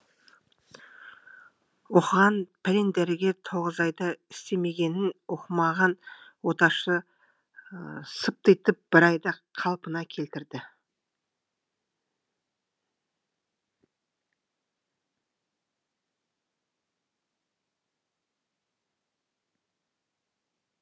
оқыған пәлен дәрігер тоғыз айда істемегенін оқымаған оташы сыптитып бір айда қалпына келтірді